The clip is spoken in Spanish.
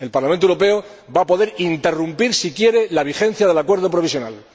El Parlamento Europeo va a poder interrumpir, si quiere, la vigencia del acuerdo provisional.